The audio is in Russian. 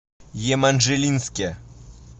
еманжелинске